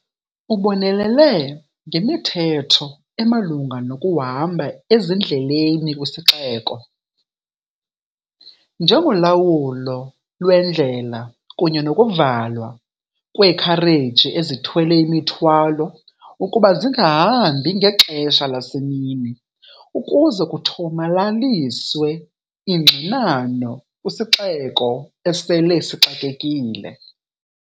Ubonelele ngemithetho emalunga nokuhamba ezindleleni kwisiXeko, njengolawulo lwendlela kunye nokuvalwa kweekhareji ezithwele imithwalo ukuba zingahambi ngexesha lasemini ukuze kuthomalaliswe ingxinano kwisixeko esele sixakekile.